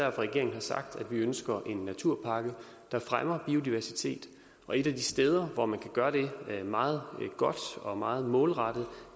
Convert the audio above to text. at regeringen har sagt at vi ønsker en naturpakke der fremmer biodiversitet og et af de steder hvor man kan gøre det meget godt og meget målrettet